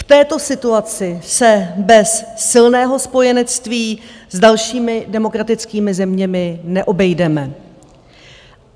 V této situaci se bez silného spojenectví s dalšími demokratickými zeměmi neobejdeme.